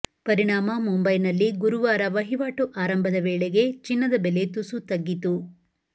ಪರಿಣಾಮ ಮುಂಬೈನಲ್ಲಿ ಗುರುವಾರ ವಹಿವಾಟು ಆರಂಭದ ವೇಳೆಗೇ ಚಿನ್ನದ ಬೆಲೆ ತುಸು ತಗ್ಗಿತು